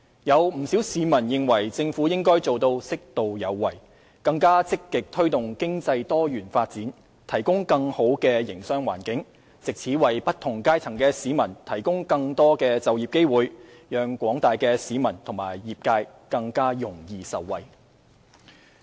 有不少市民認為政府應該做到"適度有為"，更積極地推動經濟多元發展，提供更好的營商環境，藉此為不同階層的市民提供更多就業機會，讓廣大的市民和業界更容易受惠。